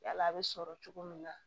Yala a bɛ sɔrɔ cogo min na